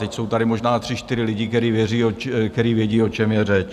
Teď jsou tady možná tři, čtyři lidi, kteří vědí, o čem je řeč.